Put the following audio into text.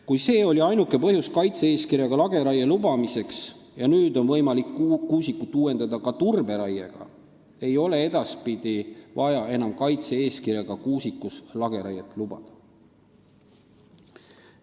Kuna see oli ainuke põhjus kaitse-eeskirjaga lageraie lubamiseks ja nüüd on võimalik kuusikut uuendada ka turberaiega, ei ole edaspidi vaja enam kaitse-eeskirjaga kuusikus lageraiet lubada.